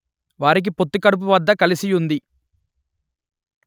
వారికి పొత్తికడుపు వద్ద కలసి యుంది